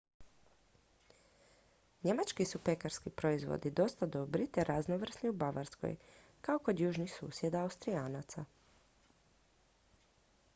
njemački su pekarski proizvodi dosta dobri te raznovrsni u bavarskoj kao kod južnih susjeda austrijanaca